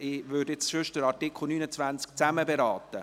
Sonst würde ich nun Artikel 29 zusammenfassend beraten.